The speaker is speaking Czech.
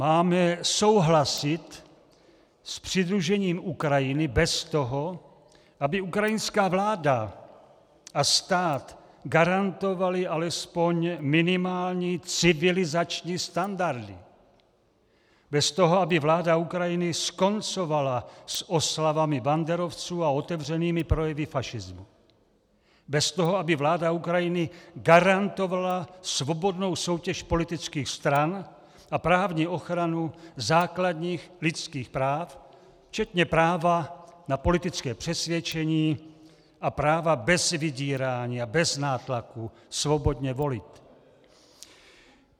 Máme souhlasit s přidružením Ukrajiny bez toho, aby ukrajinská vláda a stát garantovaly alespoň minimální civilizační standardy, bez toho, aby vláda Ukrajiny skoncovala s oslavami banderovců a otevřenými projevy fašismu, bez toho, aby vláda Ukrajiny garantovala svobodnou soutěž politických stran a právní ochranu základních lidských práv včetně práva na politické přesvědčení a práva bez vydírání a bez nátlaku svobodně volit.